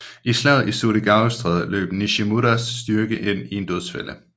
I slaget i Surigaostrædet løb Nashimuras styrke ind i en dødsfælde